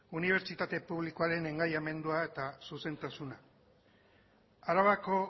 unibertsitate publikoaren engaiamendua eta zuzentasuna arabako